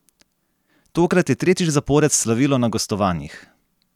Tokrat je tretjič zapored slavilo na gostovanjih!